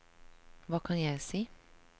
hva kan jeg si